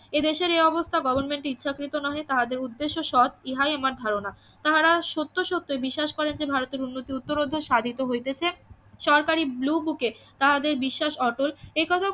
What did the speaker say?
এদেশের এ অবস্থা গভর্নমেন্ট ইচ্ছাকৃত নহে তাহাদের উদ্দেশ্য সৎ ইহাই আমার ধারণা তাহারা সত্য সত্যই বিশ্বাস করেন যে ভারতের উন্নতি উত্তরোত্তর সাধিত হইতেছে সরকারি ব্লুবুকে তাহাদের বিশ্বাস অটল এ কথা